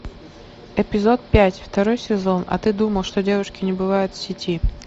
эпизод пять второй сезон а ты думал что девушки не бывают в сети